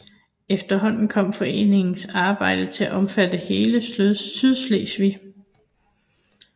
Efterhånden kom foreningen arbejde til at omfatte hele Sydslesvig